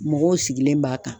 Mɔgɔw sigilen b'a kan